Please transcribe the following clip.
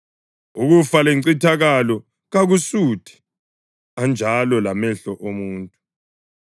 UKufa leNcithakalo kakusuthi, anjalo lamehlo omuntu.